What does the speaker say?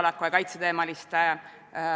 Väliskomisjon esitas selle eelnõu 7. oktoobril.